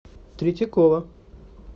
третьякова